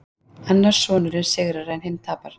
Annar sonurinn sigrar en hinn tapar